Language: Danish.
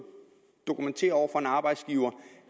dokumentere over for en arbejdsgiver